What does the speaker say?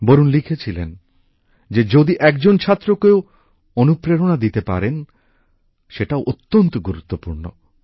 বরুণ লিখেছিলেন যে যদি একজন ছাত্রকেও অনুপ্রেরণা দিতে পারেন সেটাও অত্যন্ত গুরুত্বপূর্ণ